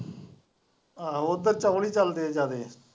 ਆਹੋ ਉੱਧਰ ਚੋਲ ਹੀ ਚੱਲਦੇ ਹੈ ਜਿਆਦੇ।